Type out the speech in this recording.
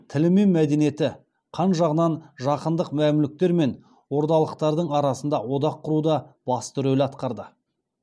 тілі мен мәдениеті қан жағынан жақындық мәмлүктер мен ордалықтардың арасында одақ құруда басты рөл атқарды